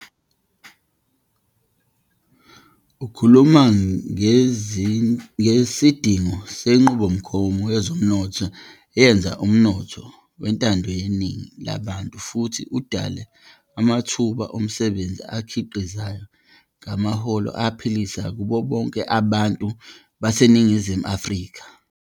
Ukhuluma ngesidingo senqubomgomo yezomnotho eyenza umnotho wentando yeningi labantu futhi udale namathuba omsebenzi akhiqizayo ngamaholo aphilisayo kubo bonke abantu baseNingizimu Afrika.